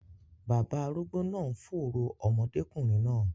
Baba arúgbó náà ń fòòró ọmọdékùnrin náà.